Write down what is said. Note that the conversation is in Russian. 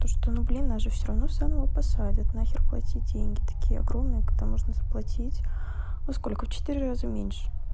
то что ну блин нас же всё равно заново посадят нахер платить деньги такие огромные когда можно заплатить ну сколько в четыре раза меньше